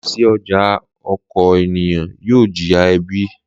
Láìsí ọjà oko ènìyàn yóò jìyà ebi.